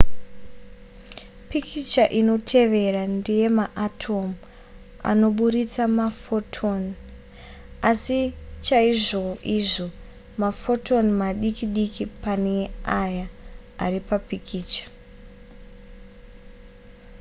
pikicha inotevera ndeyemaatomu anoburitsa mafotoni asi chaizvoizvo mafotoni madiki diki pane aya ari papikicha